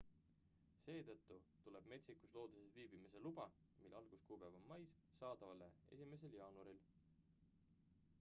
seetõttu tuleb metsikus looduses viibimise luba mille alguskuupäev on mais saadavale 1 jaanuaril